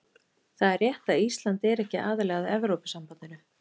Það er rétt að Ísland er ekki aðili að Evrópusambandinu.